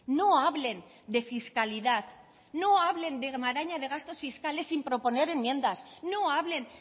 no hablen de fiscalidad no hablen de maraña de gastos fiscales sin proponer enmiendas no hablen